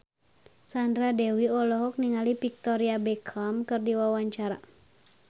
Sandra Dewi olohok ningali Victoria Beckham keur diwawancara